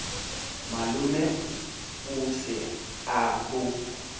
malome o se a bo